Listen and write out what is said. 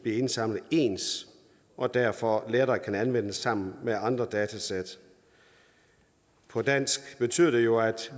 bliver indsamlet ens og derfor lettere kan anvendes sammen med andre datasæt på dansk betyder det jo at